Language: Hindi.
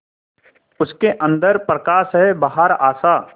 उसके अंदर प्रकाश है बाहर आशा